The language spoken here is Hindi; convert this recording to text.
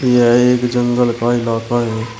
यह एक जंगल का इलाका है।